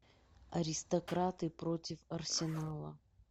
аристократы против арсенала